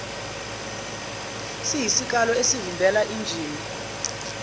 siyisikalo esivimbela injini